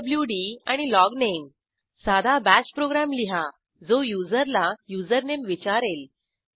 PWD आणि logname साधा Bashप्रोग्रॅम लिहा जो युजरला युझरनेम विचारेल